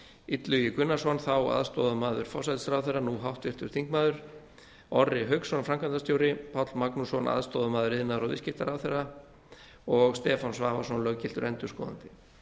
illugi gunnarsson þá aðstoðarmaður forsætisráðherra nú háttvirtur þingmaður orri hauksson framkvæmdastjóri páll magnússon aðstoðarmaður iðnaðar og viðskiptaráðherra og stefán svavarsson löggiltur endurskoðandi